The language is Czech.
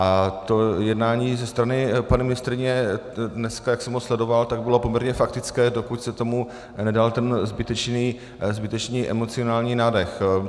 A to jednání ze strany paní ministryně, dneska, jak jsem ho sledoval, tak bylo poměrně faktické, dokud se tomu nedal ten zbytečný emocionální nádech.